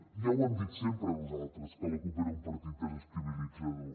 ja ho hem dit sempre nosaltres que la cup era un partit desestabilitzador